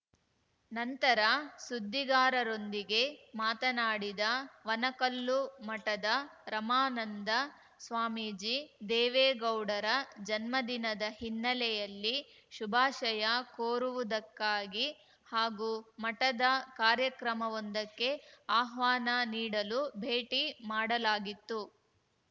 ನಂತರ ಸುದ್ದಿಗಾರರೊಂದಿಗೆ ಮಾತನಾಡಿದ ವನಕಲ್ಲು ಮಠದ ರಮಾನಂದ ಸ್ವಾಮೀಜಿ ದೇವೇಗೌಡರ ಜನ್ಮದಿನದ ಹಿನ್ನೆಲೆಯಲ್ಲಿ ಶುಭಾಶಯ ಕೋರುವುದಕ್ಕಾಗಿ ಹಾಗೂ ಮಠದ ಕಾರ್ಯಕ್ರಮವೊಂದಕ್ಕೆ ಆಹ್ವಾನ ನೀಡಲು ಭೇಟಿ ಮಾಡಲಾಗಿತ್ತು